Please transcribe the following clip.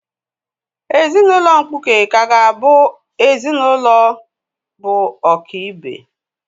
Ezinụlọ mkpuke kaa ga-awu ezinụlọ bụ ọ̀kị́be